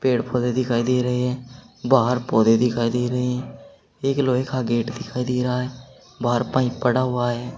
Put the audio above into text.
पेड़ पौधे दिखाई दे रहे हैं बाहर पौधे दिखाई दे रहे हैं एक लोहे का गेट दिखाई दे रहा है बाहर पाइप पड़ा हुआ है।